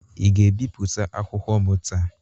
Ị ga-ebipụta akwụkwọ m taa?